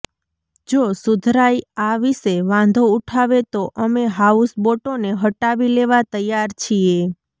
જો સુધરાઈ આ વિશે વાંધો ઉઠાવે તો અમે હાઉસબોટોને હટાવી લેવા તૈયાર છીએ